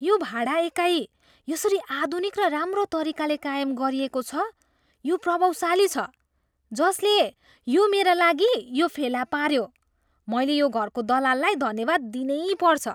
यो भाडा एकाइ यसरी आधुनिक र राम्रो तरिकाले कायम गरिएको छ यो प्रभावशाली छ! जसले यो मेरा लागि यो फेला पाऱ्यो मैले यो घरको दलाललाई धन्यवाद दिनै पर्छ।